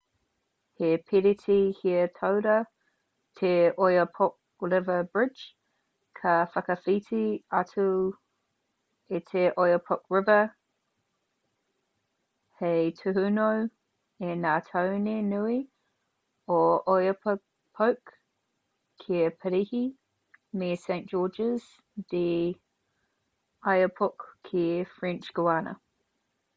he piriti here-taura te oyapock river bridge ka whakawhiti atu i te oyapock river hei tūhono i ngā tāone nui o oiapoque ki parīhi me saint-georges de l'oyapock ki french guiana